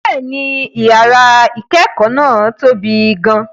Bẹ́ẹ̀ni, yàrá ìkẹ́kọ̀ọ́ náà tóbi gan-an.